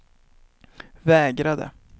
vägrade